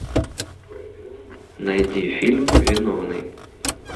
найди фильм виновный